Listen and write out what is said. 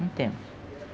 Não temos.